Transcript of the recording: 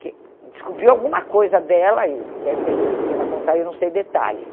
Porque descobriu alguma coisa dela e deve ter feito ela contar, eu não sei detalhes.